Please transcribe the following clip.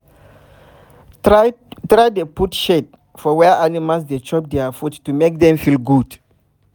try dey put shade for where animals dey chop dia food to make dem feel good